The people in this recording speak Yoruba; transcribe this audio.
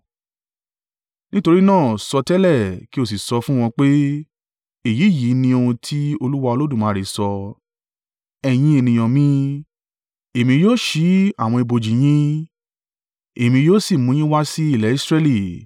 Nítorí náà sọtẹ́lẹ̀, kí o sì sọ fun wọn pé, ‘Èyí yìí ni ohun tí Olúwa Olódùmarè sọ: Ẹ̀yin ènìyàn mi, Èmi yóò ṣí àwọn ibojì yín, èmi yóò sì mú yín wá si ilẹ̀ Israẹli.